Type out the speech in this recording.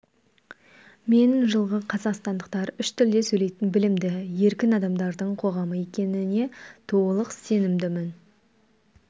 мен жылғы қазақстандықтар үш тілде сөйлейтін білімді еркін адамдардың қоғамы екеніне толық сенімдімін